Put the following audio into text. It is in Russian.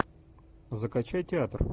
закачай театр